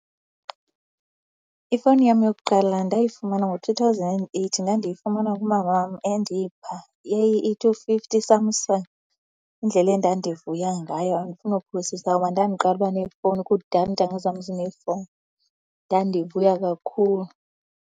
Ifowuni yam yokuqala ndayifumana ngo-two thousand and eight. Ndandiyifumana kumama wam, endipha. Yayi-E two fifty iSamsung. Indlela endandivuya ngayo, andifuni nokuphosisa ngoba ndandiqala uba nefowuni, kudala iintanga zam zinefowuni. Ndandivuya kakhulu.